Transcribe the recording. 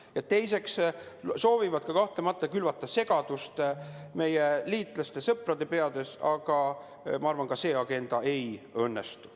Ja teiseks soovitakse kahtlemata külvata segadust meie liitlastest sõprade peades, aga ma arvan, et see agenda ei õnnestu.